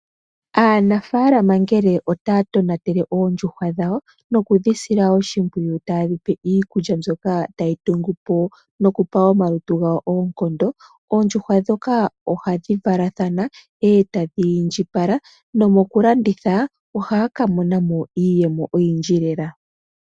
Aanafalama ngele taya tonatele oondjuhwa dhawo nokudhisila oshimpwiyu, taye dhi pe iikulya mbyoka tayi tungu po nokupa omalutu gayo oonkondo, oondjuhwa ndhoka ohadhi valathana, eta dhi indjipala nomokulanditha ohaya kuthamo iiyemo oyindji lela.